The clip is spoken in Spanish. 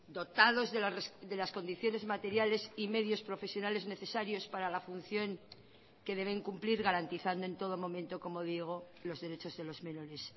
dotados de las condiciones materiales y medios profesionales necesarios para la función que deben cumplir garantizando en todo momento como digo los derechos de los menores